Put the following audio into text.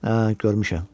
Hə, görmüşəm.